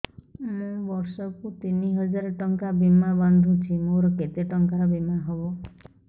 ମୁ ବର୍ଷ କୁ ତିନି ହଜାର ଟଙ୍କା ବୀମା ବାନ୍ଧୁଛି ମୋର କେତେ ଟଙ୍କାର ବୀମା ହବ